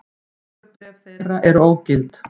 Kjörbréf þeirra eru ógild